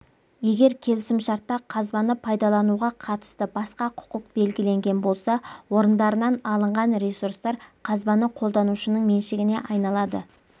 егер келісімшартта қазбаны пайдалануға қатысты басқа құқық белгіленген болса орындарынан алынған ресурстар қазбаны қолданушының меншігіне айналады